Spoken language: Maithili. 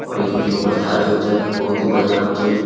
और ई बिजली पर चार्ज होइ छे बहुत ही बढ़िया होइ छे ई।